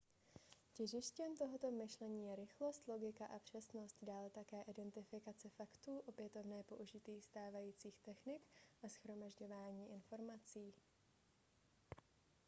těžištěm tohoto myšlení je rychlost logika a přesnost dále také identifikace faktů opětovné použití stávajících technik a shromažďování informací